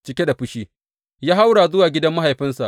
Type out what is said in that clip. Cike da fushi, ya haura zuwa gidan mahaifinsa.